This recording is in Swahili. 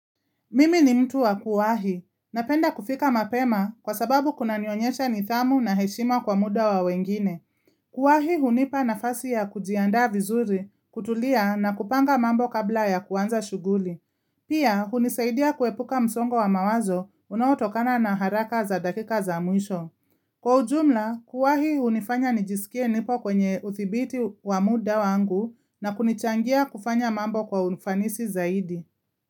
Mimi ni mtu wa kuwahi, napenda kufika mapema kwa sababu kuna nionyesha nidhamu na heshima kwa muda wa wengine. Kuwahi hunipa nafasi ya kujiandaa vizuri, kutulia na kupanga mambo kabla ya kuanza shughuli. Pia hunisaidia kuepuka msongo wa mawazo unaotokana na haraka za dakika za mwisho. Kwa ujumla, kuwahi hunifanya nijisikie nipo kwenye udhibiti wa muda wangu na kunichangia kufanya mambo kwa unfanisi zaidi.